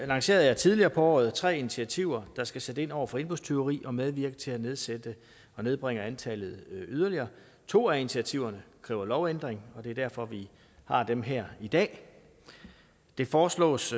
lancerede jeg tidligere på året tre initiativer der skal sætte ind over for indbrudstyveri og medvirke til at nedsætte og nedbringe antallet yderligere to af initiativerne kræver lovændring og det er derfor vi har dem her i dag det foreslås